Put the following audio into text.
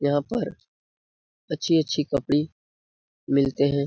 यहाँ पर अच्छी - अच्छी कपड़ी मिलते हैं।